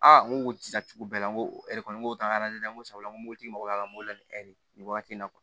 n ko tilacogo bɛɛ la n ko n ko n ko sabula n ko moritumabɔla n b'o ladege nin waati in na